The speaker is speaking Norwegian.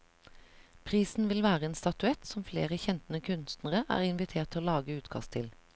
Prisen vil være en statuett, som flere kjente kunstnere er invitert til å lage utkast til.